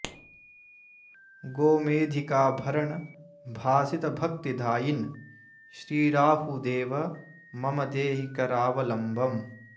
गोमेधिकाभरण भासित भक्तिदायिन् श्री राहुदेव मम देहि करावलम्बम्